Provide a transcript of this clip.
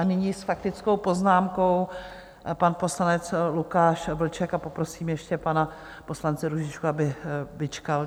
A nyní s faktickou poznámkou pan poslanec Lukáš Vlček a poprosím ještě pana poslance Růžičku, aby vyčkal.